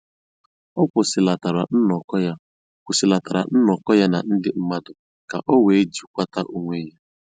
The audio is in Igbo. Ọ kwụsịlatara nnọkọ ya kwụsịlatara nnọkọ ya na ndị mmadụ ka o wee jikwata onwe ya